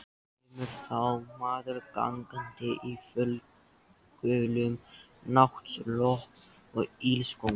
Kemur þá maður gangandi í fölgulum náttslopp og ilskóm.